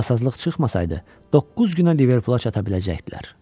Nasazlıq çıxmasaydı, doqquz günə Liverpula çata biləcəkdilər.